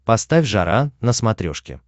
поставь жара на смотрешке